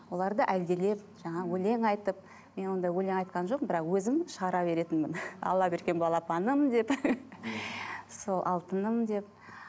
оларды әлдилеп жаңағы өлең айтып мен ондай өлең айтқан жоқпын бірақ өзім шығара беретінмін алла берген балапаным деп сол алтыным деп